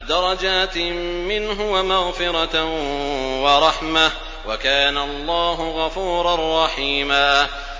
دَرَجَاتٍ مِّنْهُ وَمَغْفِرَةً وَرَحْمَةً ۚ وَكَانَ اللَّهُ غَفُورًا رَّحِيمًا